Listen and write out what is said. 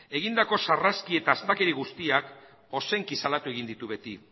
egindako sarraski eta astakeri guztiak ozenki salatu egin ditu beti